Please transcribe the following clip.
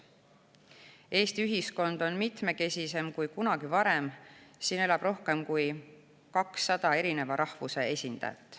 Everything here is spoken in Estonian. Eesti ühiskond on mitmekesisem kui kunagi varem, siin elab rohkem kui 200 rahvuse esindajaid.